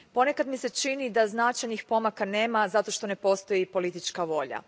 Ponekad mi se čini da značajnih pomaka nema, zato što ne postoji politička volja.